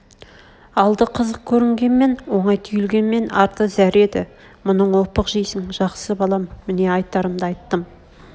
алды қызық көрнгенмен оңай түйілгенмен арты зәр еді мұның опық жейсң жақсы балам міне айтарымды айттым